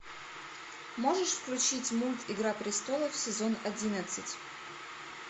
можешь включить мульт игра престолов сезон одиннадцать